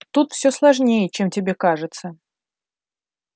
тут все сложнее чем тебе кажется